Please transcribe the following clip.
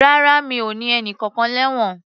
Rárá, mi o ní ẹnìkankan lẹ́wọ̀n.